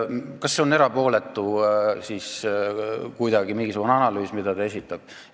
Kas see on siis mingisugune erapooletu analüüs, mida ta esitab?